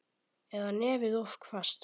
Eða nefið of hvasst.